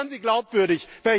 Dann werden sie glaubwürdig.